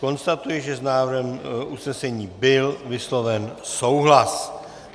Konstatuji, že s návrhem usnesení byl vysloven souhlas.